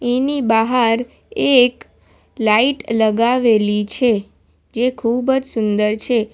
એની બહાર એક લાઇટ લગાવેલી છે જે ખૂબ જ સુંદર છે.